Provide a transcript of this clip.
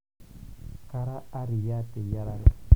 kaara arriyia te eyiarare